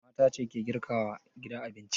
Mata ce ke girka wa gida abinci.